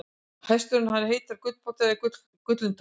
hestur hans heitir gulltoppur eða gullintoppur